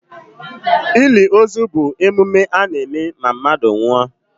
Ili ozu bụ emume a na-eme na mmadụ nwụọ.